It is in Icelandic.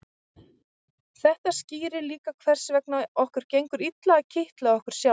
þetta skýrir líka hvers vegna okkur gengur illa að kitla okkur sjálf